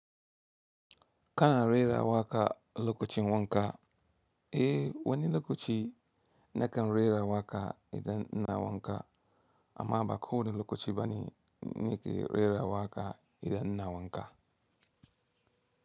Kana rera waƙa lokacin wanka? Eh, wani lokaci na kan rera waƙa idan ina wanka amma ba ko wani lokaci bane ni ke rera waƙa idan ina wanka.